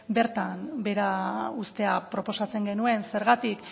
bertan behera uztea proposatzen genuen zergatik